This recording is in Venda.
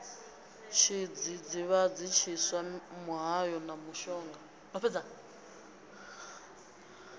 tshidzidzivhadzi tshiswa muhayo na mushonga